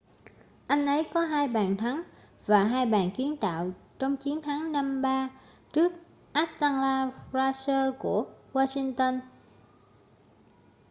anh ấy có 2 bàn thắng và 2 bàn kiến tạo trong chiến thắng 5-3 trước atlanta thrashers của washington